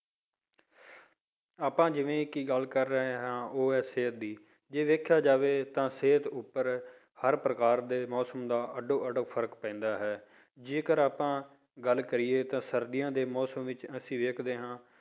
ਆਪਾਂ ਜਿਵੇੇਂ ਕਿ ਗੱਲ ਕਰ ਰਹੇ ਹਾਂ ਉਹ ਹੈ ਸਿਹਤ ਦੀ ਜੇ ਦੇਖਿਆ ਜਾਵੇ ਤਾਂ ਸਿਹਤ ਉੱਪਰ ਹਰ ਪ੍ਰਕਾਰ ਦੇ ਮੌਸਮ ਦਾ ਅੱਡੋ ਅੱਡ ਫ਼ਰਕ ਪੈਂਦਾ ਹੈ, ਜੇਕਰ ਆਪਾਂ ਗੱਲ ਕਰੀਏ ਤਾਂ ਸਰਦੀਆਂ ਦੇ ਮੌਸਮ ਵਿੱਚ ਅਸੀਂ ਵੇਖਦੇ ਹਾਂ